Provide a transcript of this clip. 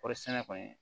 Kɔɔri sɛnɛ kɔni